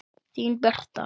Þín Birta.